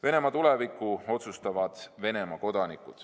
Venemaa tuleviku otsustavad Venemaa kodanikud.